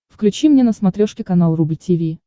включи мне на смотрешке канал рубль ти ви